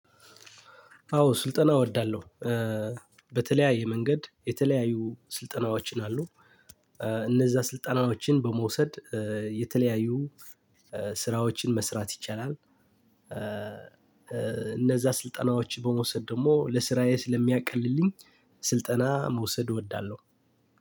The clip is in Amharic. አዎ ስልጠና እወርዳለሁ። በተለያያ መንገድ የተለያዩ ስልጠናዎችን አሉ እነዛን ስልጠና መቼም በመውሰድ የተለያዩ ስራዎችን መስራት ይቻላል። እነዛ ስልጠናዎች በመውሰድ ደግሞ ለስራዬ ስለሚያቀልልኝ ስልጠና መውሰድ እወዳለሁ።